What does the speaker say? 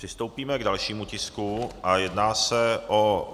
Přistoupíme k dalšímu tisku a jedná se o